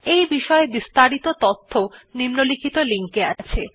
এই বিষয় বিস্তারিত তথ্য নিম্নলিখিত লিঙ্ক এ আছে